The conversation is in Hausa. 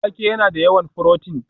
Wake yana da yawan furotin